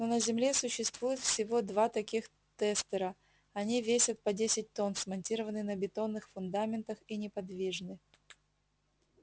но на земле существуют всего два таких тестера они весят по десять тонн смонтированы на бетонных фундаментах и неподвижны